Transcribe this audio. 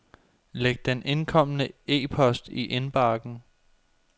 Læg den indkomne e-post i indbakken.